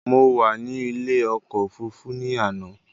Mo wà ní ilé ọkọ̀ òfurufú ní àná